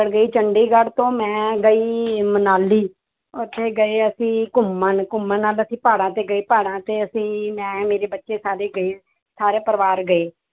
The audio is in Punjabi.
ਗਈ ਚੰਡੀਗੜ੍ਹ ਤੋਂ ਮੈਂ ਗਈ ਮਨਾਲੀ, ਉੱਥੇ ਗਏ ਅਸੀਂ ਘੁੰਮਣ ਘੁੰਮਣ ਨਾਲ ਅਸੀਂ ਪਹਾੜਾਂ ਤੇ ਗਏ ਪਹਾੜਾਂ ਤੇ ਅਸੀਂ ਮੈਂ ਮੇਰੇ ਬੱਚੇ ਸਾਰੇ ਗਏ ਸਾਰੇ ਪਰਿਵਾਰ ਗਏ।